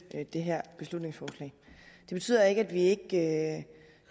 det her beslutningsforslag det betyder ikke at vi ikke